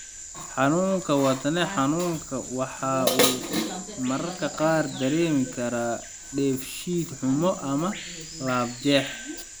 Xanuunka wadne xanuunka waxa uu mararka qaar dareemi karaa dheefshiid xumo ama laabjeex.